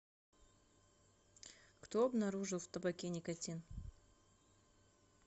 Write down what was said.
кто обнаружил в табаке никотин